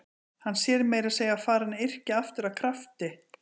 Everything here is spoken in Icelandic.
Hann sé meira að segja farinn að yrkja aftur af krafti.